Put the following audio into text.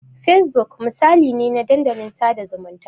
Fesbuk misali ne na dandalin sada zumunta.